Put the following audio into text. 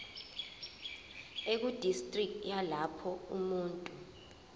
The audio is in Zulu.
ekudistriki yalapho umuntu